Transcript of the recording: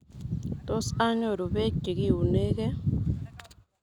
Tos anyoru beek chekiunegee?